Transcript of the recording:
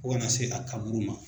Fo kana se a kaburu ma.